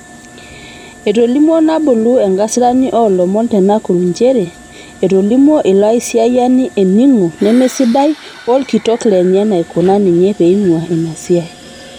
Etolimuo Nabulu enkasirani oolomon te Nakuru nchere etolimuo ilo aisiyiani eningo nemesidai olkitok lenye naikuna ninye peinguaa ina siaai.